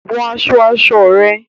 Wọ aṣọ aṣọ rẹ